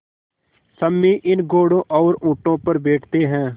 सम्मी इन घोड़ों और ऊँटों पर बैठते हैं